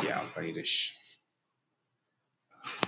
ɗaukeshi daga gona zuwa gida.